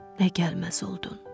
Nə gəlməz oldun.